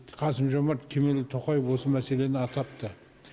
қасым жомарт кемелұлы тоқаев осы мәселені атапты